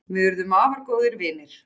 Við urðum afar góðir vinir.